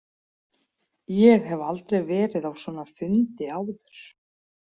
Ég hef aldrei verið á svona fundi áður.